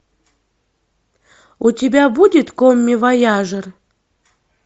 у тебя будет коммивояжер